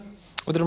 þetta eru